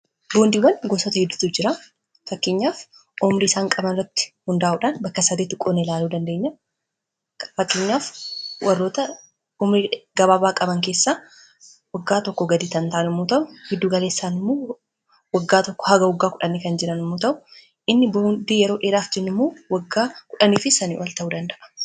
boondiiwwan gosota hiddutu jira fakkinyaaf omrii isaan qabaratti hundaa'uudhaan bakka sadeeti qonelaaluu dandeenya fakkiinyaaf warroota omrii gabaa baaqaban keessaa waggaa tokko gaditan taanimuu ta'u hiddugaleessaanmuu waggaa tokko haga wagaa 1 kan jiran muu ta'u inni boondii yeroo eraaf jiimuu waggaa 1f sanii al ta'uu danda'a